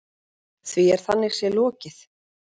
Því er þannig séð lokið.